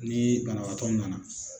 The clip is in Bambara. Nii banabaatɔw nana